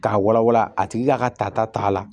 K'a wala wala a tigi ka ka tata ta la